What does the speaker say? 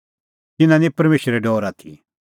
तिन्नां निं परमेशरे डौर आथी